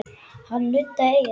Hann nuddaði eyrað.